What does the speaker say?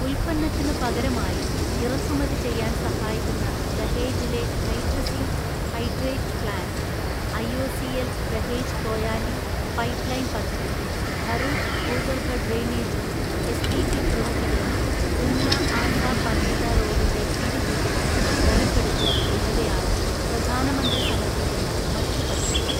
ഉൽപ്പന്നത്തിനു പകരമായി ഇറക്കുമതി ചെയ്യാൻ സഹായിക്കുന്ന ദഹേജിലെ hydrazine hydrate plant, IOCL Dahej Koyali pipeline പദ്ധതി, ഭറൂച്ച് ഭൂഗർഭ ഡ്രെയിനേജും എസ്ടിപി പ്രവൃത്തികളും, ഉംല്ല ആസാ പനേത റോഡിന്റെ വീതികൂട്ടലും ബലപ്പെടുത്തലും എന്നിവയാണു പ്രധാനമന്ത്രി സമർപ്പിക്കുന്ന മറ്റു പദ്ധതികൾ.